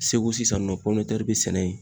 Segu sisan nɔ pɔminɛtɛri be sɛnɛ yen